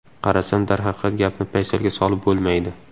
Qarasam, darhaqiqat gapni paysalga solib bo‘lmaydi.